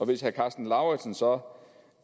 hvis herre karsten lauritzen så